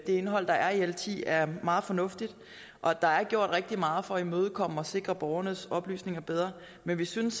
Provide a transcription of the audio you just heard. indhold der er i l ti er meget fornuftigt og at der er gjort rigtig meget for at imødekomme og sikre borgernes oplysninger bedre men vi synes